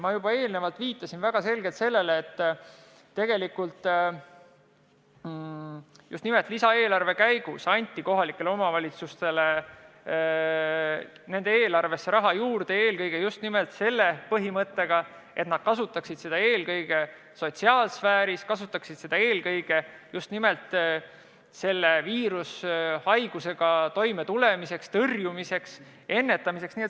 Ma juba eelnevalt viitasin väga selgelt, et tegelikult just nimelt lisaeelarve arutamise käigus anti kohalikele omavalitsustele nende eelarvesse raha juurde, ja just nimelt selle põhimõttega, et nad kasutaksid seda eelkõige sotsiaalsfääris, kasutaksid seda eelkõige just nimelt selle viirushaigusega toimetulemiseks, selle tõrjumiseks, ennetamiseks.